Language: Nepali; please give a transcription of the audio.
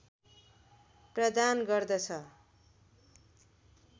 प्रदान गर्दछ